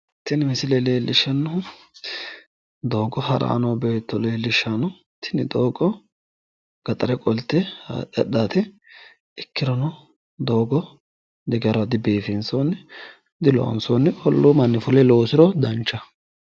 tini misile leelishannohu doogo haranni noo beetto tini doogo gaxare kolte haadhe hadhaate ikkirono doogo digaraho dibiifinsooni olluu manni fule loosiro danchaho.